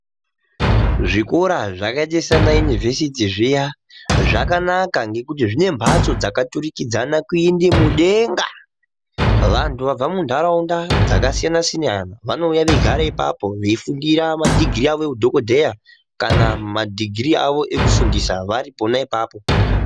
Zvikora zvakaita sakayunivesiti zviya zvakanaka ngekuti zvine mhatso dzakaturikidzana kuende mudenga. Vantu vabva muntaraunda dzakasiyna-siyana vanouya veigara ipapo veifundira madhigirii avo eudhokodheya kana madhigirii ekufundisa vari pona apapo.